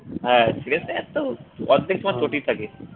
হ্যাঁ শ্রেয়াস আয়ার তো অর্ধেক মাঠ থাকে